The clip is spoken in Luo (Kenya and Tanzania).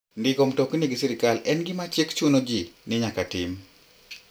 Ndiko mtoka gi sirkal en gima chik chuno ji ni nyaka tim.